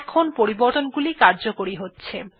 এখন পরিবর্তনগুলি কার্যকরী হচ্ছে